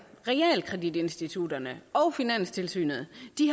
realkreditinstitutterne og finanstilsynet